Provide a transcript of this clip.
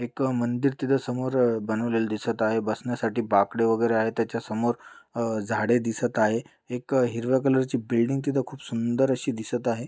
एक मंदिर तिथं समोर बनवलेले दिसत आहे बसण्यासाठी बाकडे वगैरे आहे त्याच्यासमोर अह झाडे दिसत आहे एक हरव्या कलरची बिल्डिंग तिथं खूप सुंदर अशी दिसत आहे.